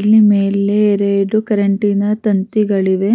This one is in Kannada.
ಇಲ್ಲಿ ಮೇಲೆ ಎರಡು ಕರೆಂಟಿನ ತಂತಿಗಳಿವೆ.